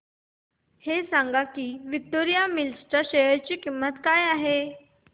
हे सांगा की विक्टोरिया मिल्स च्या शेअर ची किंमत काय आहे